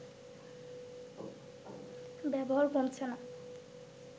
ব্যবহার কমছে না